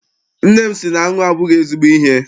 Nne m sị na aṅụ abụghị ezigbo ihe.